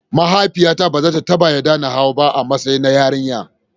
A'a, mahaifiyata ba za ta taba yarda na hau ba, a matsayina na yarinya.